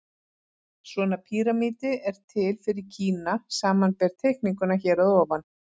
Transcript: Svona píramídi er til fyrir Kína, samanber teikninguna hér að ofan.